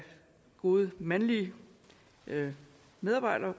gode mandlige medarbejdere